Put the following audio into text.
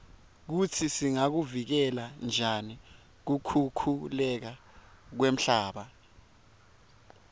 kutsi singakuvikela njani kukhukhuleka kwemhlaba